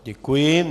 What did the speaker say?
Děkuji.